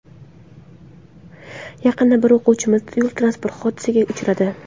Yaqinda bir o‘quvchimiz yo‘l-transport hodisasiga uchradi.